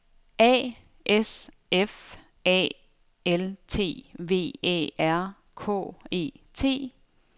A S F A L T V Æ R K E T